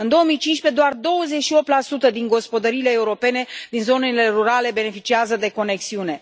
În 2015, doar 28 din gospodăriile europene din zonele rurale beneficiază de conexiune.